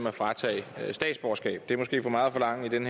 at fratage statsborgerskab det er måske for meget at forlange i den